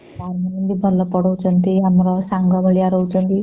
ସାର ମାନେ ବି ଭଲ ପଢ଼ାଉଛନ୍ତି ଆମର ସାଙ୍ଗ ଭଳିଆ ରହୁଛନ୍ତି